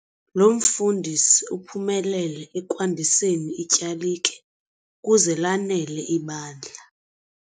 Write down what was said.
Lo mfundisi uphumelele ekwandiseni ityalike ukuze lanele ibandla.